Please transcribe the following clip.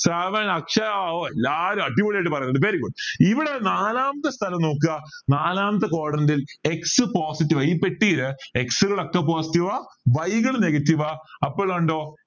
ശ്രാവൺ അക്ഷയ ഓ എല്ലാരും അടിപൊളിയായിട്ട് പറയുന്നുണ്ട് very good ഇവിടെ നാലാമത്തെ സ്ഥലം നോക്ക നാലാമത്തെ quadrant ൽ x positive ആ ഈ പെട്ടിയിൽ x കാൾ ഒക്കെ positive ആ y കൾ negative ആ അപ്പൊ ഇത് കണ്ടോ